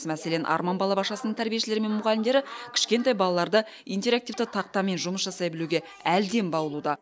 мәселен арман балабақшасының тәрбиешілері мен мұғалімдері кішкентай балаларды интерактивті тақтамен жұмыс жасай білуге әлден баулуда